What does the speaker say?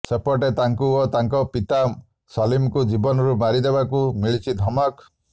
ସେପଟେ ତାଙ୍କୁ ଓ ତାଙ୍କ ପିତା ସଲିମଙ୍କୁ ଜୀବନରୁ ମାରିଦେବାକୁ ମିଳିଛି ଧମକ